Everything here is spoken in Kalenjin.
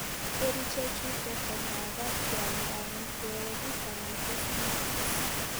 Kerichee chutok ko makaat keamdaa amiteogik anan ko sinakis .